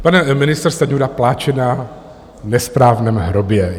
Pan ministr Stanjura pláče na nesprávném hrobě.